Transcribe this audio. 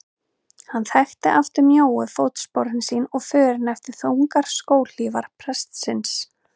Hann þekkti aftur mjóu fótsporin sín og förin eftir þungar skóhlífar prestsins.